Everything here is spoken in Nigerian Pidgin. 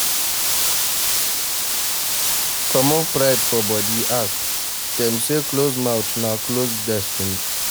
Comot pride for body ask, dem sey closed mouth na closed destiny